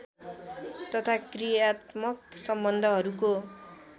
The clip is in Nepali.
तथा क्रियात्मक सम्बन्धहरूको